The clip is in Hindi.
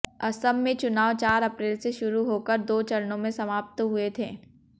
असम में चुनाव चार अप्रैल से शुरू होकर दो चरणों में समाप्त हुए थे